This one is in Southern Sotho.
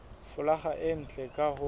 folaga e ntle ka ho